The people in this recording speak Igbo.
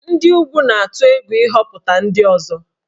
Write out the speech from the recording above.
Ndị ugwu na-atụ egwu ịhọpụta ndị ọzọ